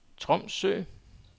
Tromsø